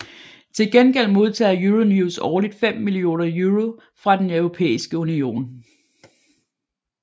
Til gengæld modtager Euronews årligt 5 millioner euro fra Den Europæiske Union